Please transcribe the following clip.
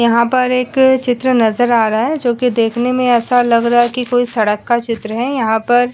यहाँ पर एक चित्र नज़र आ रहा है जोकि देखने में ऐसा लग रहा है की कोई सड़क का चित्र है। यहाँ पर --